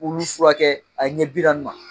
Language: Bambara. Olu furakɛ a ɲɛ bi naani ma.